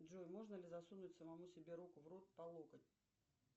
джой можно ли засунуть самому себе руку в рот по локоть